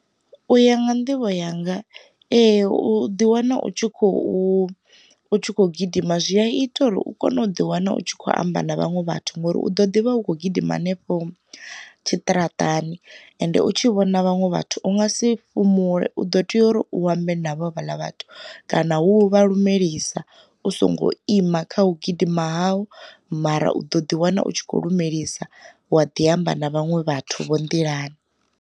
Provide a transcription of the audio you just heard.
U ya nga nḓivho yanga ee, u ḓi wana u tshi khou gidima zwi a ita uri u kone u ḓi wana u tshi kho amba na vhaṅwe vhathu ngauri, u ḓo ḓivha u kho gidima hanefho tshiṱaratani ende u tshi vhona vhaṅwe vhathu u nga si fhumule u ḓo tea uri u ambe navho vhala vhathu kana hu vha lumelisa u songo ima kha hu gidima ha u, mara u ḓo ḓi wana u tshi kho lumelisa wa ḓi amba na vhaṅwe vhathu vho nḓilani.